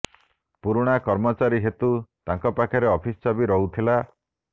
ପୁରୁଣା କର୍ମଚାରୀ ହେତୁ ତାଙ୍କ ପାଖରେ ଅଫିସ୍ ଚାବି ରହୁଥିଲା